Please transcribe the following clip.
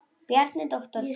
Bjarni, doktor Bjarni.